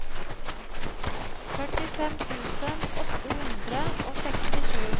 førtifem tusen åtte hundre og sekstisju